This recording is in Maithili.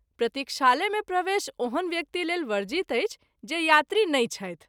प्रतिक्षालय मे प्रवेश ओहन व्यक्ति लेल वर्जित अछि जे यात्री नहिं छथि।